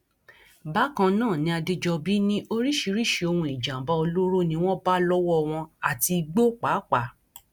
bákan náà ni adèjọbí ní oríṣiríṣiì ohun ìjàǹbá olóró ni wọn bá lọwọ wọn àti igbó pàápàá